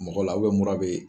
Mɔgɔ la mura bɛ